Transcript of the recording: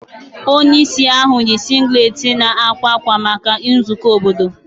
Onye isi ahụ yi singlet na akwa akwa maka nzukọ obodo.